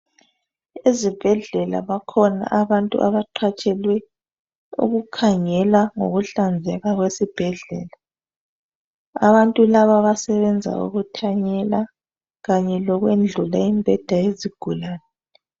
Ezibhedlela bakhona abantu abaqhatshelwe ukukhangela ngokuhlanzeka kwesibhedlela. Abantu laba basebenza ukuthanyela kanye lokwendlula imibheda yezigulane.